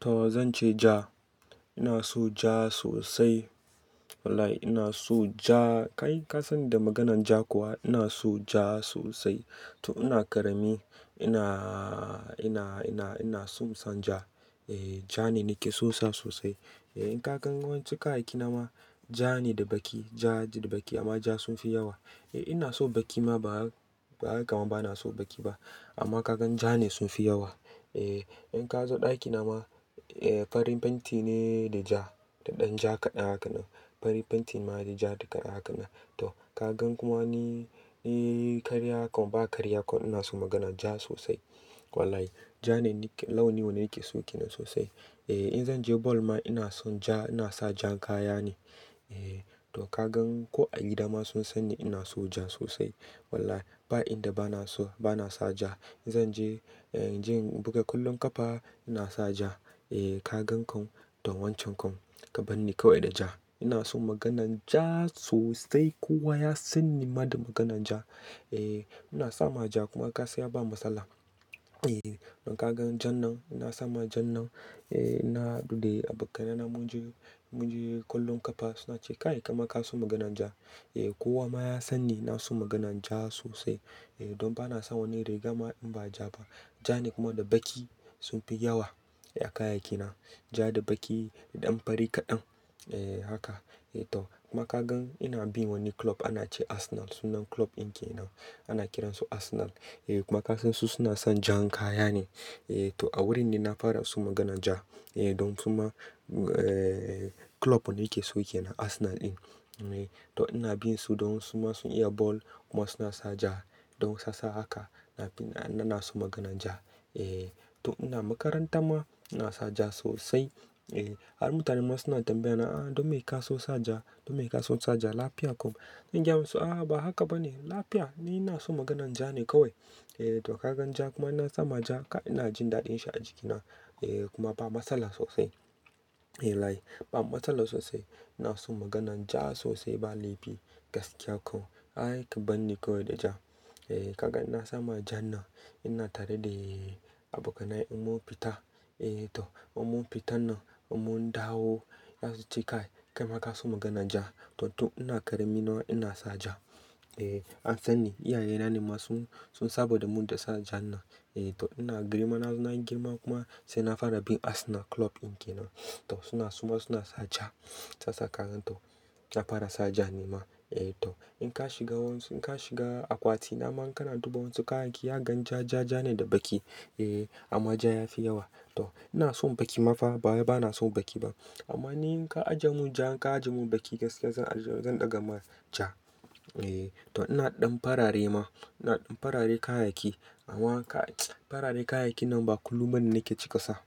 To zan ce ja. Ina so ja sosai. Wallahi ina so ja. Kai ka san da maganan ja kuwa ina so ja sosai. To ina ƙarami ina, ina, ina, ina son san ja. Eh ja ne nake sonsa sosai. Eh in ka gan wancan kayaki na ma ja ne da baƙi. Ja da baƙi amma ja sun fi yawa. Eh ina so baƙi ma ba haka kuma bana so baƙi ba. Amma ka gan ja ne sun fi yawa. Eh in ka zo ɗaki na ma, eh farin fenti ne da ja da ɗan ja kaɗan haka nan. Farin fenti ma da ja haka nan. To ka gan kuma ni, ni karya kuma ba karya kuma ina so maganan ja sosai. Wallahi ja ne launin wanda nake so ke nan sosai. Eh in zan je ball ma ina son ja ina sa jan kaya ne. Eh to ka gan ko a gida ma sun san ni ina so ja sosai. Wallahi ba inda bana so bana sa ja. In zan je, eh je in buga kwallon ƙafa ina sa ja. Eh ka gan komai don wancan komai ka bani kawai da ja. Ina so maganan ja sosai kowa ya sanni ma da maganan ja. Eh ina sa ma ja kuma ka siya ba matsala. Eh in ka gan jan nan ina sa ma jan nan. Eh ina daɗe da abokanai na mun je, mun je kwallon ƙafa suna ce kai kuma kana so maganan ja. Eh kowa ma ya san ni na so maganan ja sosai. Eh don bana son wani riga ma in ba ja ba. Ja ne kuma da baƙi sun fi yawa a kayayyaki na. Ja da baƙi da ɗan fari kaɗan. Eh haka. Eh to kuma ka gan ina bin wani club ana ce Arsenal sunan club in ke nan. Ana kiran su Arsenal. Eh kuma ka san su suna son jan kaya ne. Eh to a wurin ne na fara so maganan ja. Eh don su ma, eh club wanda nake so yake na Arsenal din. Eh to ina bin su don su ma sun iya ball kuma suna sa ja. Don sassa haka na bi na, na so maganan ja. Eh to ina makaranta ma ina sa ja sosai. Eh har mutane ma suna tambaya na "ah don me ke so sa ja? Don me ka so sa ja lafiya kuma?" In gaya musu "ah ba haka ba ne. Lafiya ni ina so maganan ja ne kawai". Eh to ka gan ja kuma ina sa ma ja ina jin daɗin shi a jikina. Eh kuma ba matsala sosai. Eh wallahi ba matsala sosai. Ina so maganan ja sosai ba laifi gaskiya kawai. Ai ka bani kawai da ja. Eh ka gan ina sa ma ja nan ina tare da abokanai mun, mun fita. Eh to mun mun fita nan mun dawo za su ce kai, kai ma ka so maganan ja. To to ina ƙarami nawa ina sa ja. Eh an san ni. Iyaye na ne ma sun, sun saba da mun da sa ja nan. Eh to ina girma na zo na girma kuma sai na fara bin Arsenal club in ke nan. To suna suma suna sa ja sassa karen to. Na fara sa ja ni ma. Eh to in ka shiga wani, in ka shiga akwati na mana kana duba wasu kayaki ya gan ja, ja, ja ne da baƙi. Eh amma ja ya fi yawa. To ina son baƙi ma fa ba bana so baƙi ba. Amma ni in ka ajiye mun ja in ka ajiye mun baƙi gaskiya zan, zan ɗaga ma ja. Eh to ina ɗan farare ma. Ina ɗan farare kayaki. Amma kai! Farare kayayyakin nan ba kullum bane nake cika sa.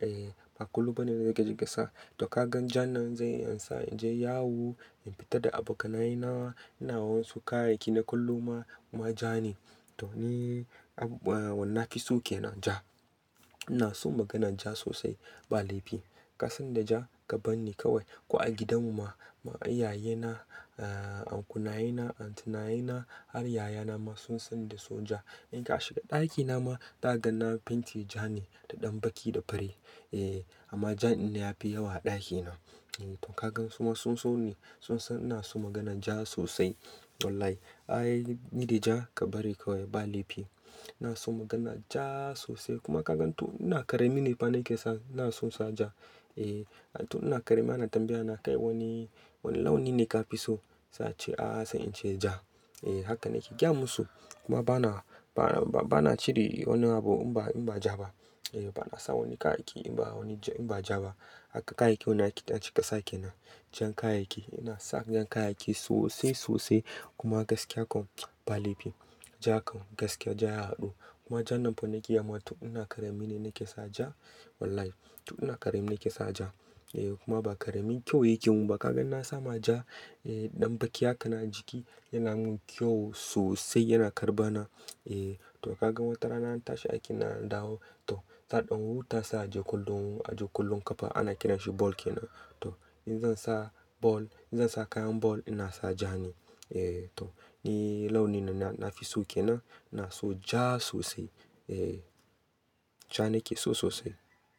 Eh ba kullum bane nake cika sa. To ka gan jan nan zai yansa in je yawu in fita da abokanai na. Ina wani kayayyaki na kullum ma kuma ja ne. To ni ab, wannan na ki so ke nan ja. Ina so maganan ja sosai ba laifi. Ka san da ja ka bani kawai. Ko a gidan mu ma, ma iyaye na, ah ankula yena, antu naye na har yaya na ma sun sani da so ja. In ka shiga ɗaki na ma za ka gan na fenti ja ne da ɗan baƙi da fari. Eh amma ja ne ya fi yawa a ɗaki na. Eh to ka gan suma sun so ni. Sun san ina so maganan ja sosai. Wallahi ai ni da ja ka bari kawai ba laifi. Ina so maganan ja sosai kuma ka gan to ina ƙarami ne ba na iya sa. Ina so sa ja. Eh to ina ƙarami ana tambaya na kai wani, wani launi ne ka fi so? Sa ce "ah sai in ce ja". Eh haka nake gaya musu. Kuma bana, ba, ba, bana cire wani abu in ba, in ba ja ba. Eh bana sa wani kayayyaki in ba wani ja, in ba ja ba. Haka kayayyaki wanda ake ɗan cika sake na. Jan kayayyaki. Ina sa jan kayayyaki sosai sosai kuma gaskiya kawai ba laifi. Ja kawai gaskiya ja yayi haɗu. Kuma ja nan fa nake yi amma to ina ƙarami ne nake sa ja. Wallahi to ina ƙarami ne nake sa ja. Eh kuma ba ƙaramin kyau yake mun ba ka gan ina sa ma ja, eh ɗan baƙi haka na jiki yana mun kyau sosai yana karɓa na. Eh to ka gan watarana na tashi aiki na dawo. To sa ɗan huta sa aje kwallo, aje kwallon ƙafa ana kiran shi ball ke nan. To in zan sa ball, in zan sa kayan ball ina sa ja ne. Eh to ni launi na, na fi so ke nan. Ina so ja sosai. Eh ja ne ke so sosai.